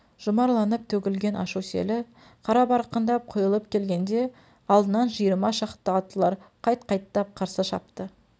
жұмарланып төгілген ашу селі қарабарқындап құйылып келгенде алдынан жиырма шақты аттылар қайт қайттап қарсы шапты